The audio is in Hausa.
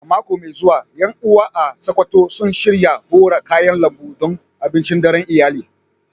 A mako mai zuwa, ƴan uwa a Sakkwato sun shirya hora kayan lambu don abincin daren iyali.